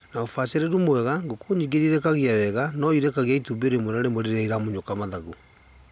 Na ũbacarĩru mwega, ngũkũ nyingi iria irekagia wega no irekagie itumbĩ rĩmwe na rĩmwe rĩrĩa iramunyũka mathagu.